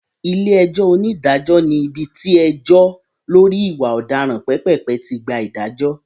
Ilé-ẹjọ́ onídàájọ́ ní ibi tí ẹjọ́ lọ́rí ìwà ọ̀daràn pépèpé tí gba ìdájọ́.